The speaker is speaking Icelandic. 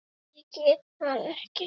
Ég get það ekki